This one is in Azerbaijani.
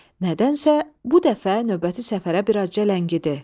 Nədənsə, bu dəfə növbəti səfərə biraz cəngidi.